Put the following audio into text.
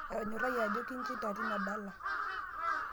atonyorrayie ajo kinchinda tina dala